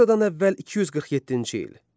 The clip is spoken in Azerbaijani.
Eradan əvvəl 247-ci il.